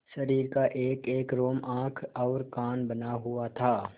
शरीर का एकएक रोम आँख और कान बना हुआ था